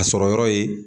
A sɔrɔ yɔrɔ ye